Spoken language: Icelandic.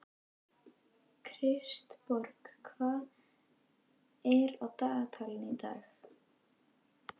Kristborg, hvað er á dagatalinu í dag?